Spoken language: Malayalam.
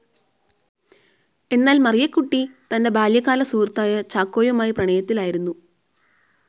എന്നാൽ മറിയക്കുട്ടി തന്റെ ബാല്യകാല സുഹൃത്തായ ചാക്കോയുമായി പ്രണയത്തിലായിരുന്നു.